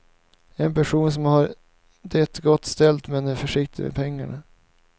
En person som har det gott ställt men är försiktig med pengar.